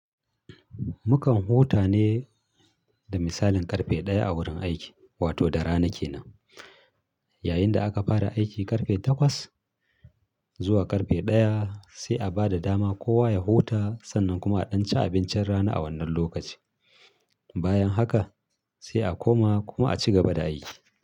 Mukan huta ne da misalin ƙarfe ɗaya a wurin aiki, wato da rana kenan. Yayin da aka fara aiki ƙarfe takwas zuwa ƙarfe ɗaya sai a ba da dama kowa ya huta sannan kuma a ɗan ci abincin rana a wannan lokacin. Bayan haka sai a koma kuma a cigaba da aiki.